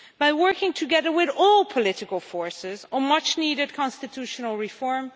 by working together with all political forces on much needed constitutional reform